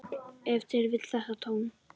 Ef til vill þetta tóm.